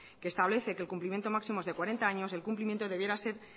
que establece que el cumplimiento máximo es de cuarenta años el cumplimiento debiera ser